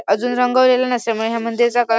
अजून रंगावलेल नसे म या मंदिराचा क--